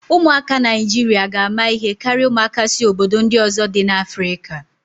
Ụmụaka Naijiria ga ama ihe karịa ụmụaka si obodo ndị ọzọ dị n'Afrika.